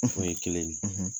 o ye kelen ye.